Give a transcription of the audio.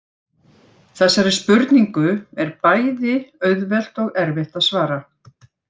Þessari spurningu er bæði auðvelt og erfitt að svara.